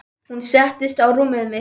Hún settist á rúmið mitt.